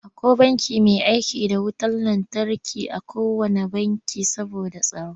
Akwai ƙofa mai aiki da wutar lantarki a kowanne banki saboda tsaro.